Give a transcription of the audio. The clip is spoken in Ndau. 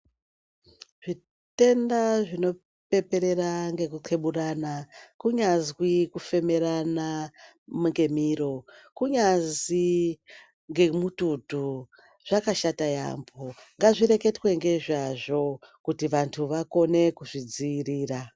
Zvetenda zvinopeperera ngekukeburana kunyazwi kufemerana ngemiro kunyazi ngemututu zvakashata yaambo. Ngazvireketwe ngezvazvo kuti vantu vakone kuzvidzirira.